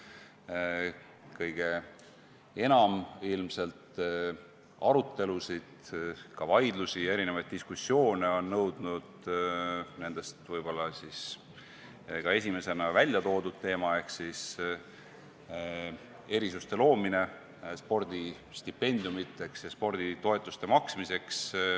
Ilmselt kõige enam arutelusid ja vaidlusi on peetud võib-olla esimesena välja toodud teemal ehk erisuste loomisel spordistipendiumide ja sporditoetuste maksmiseks.